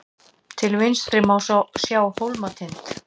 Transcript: til vinstri má sjá hólmatind